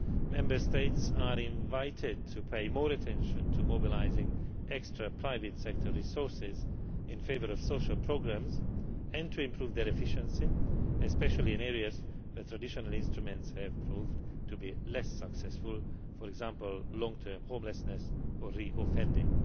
Member States are invited to pay more attention to mobilising extra private sector resources in favour of social programmes and to improve their efficiency, especially in areas where traditional instruments have proved to be less successful, for example long term homelessness or reoffending.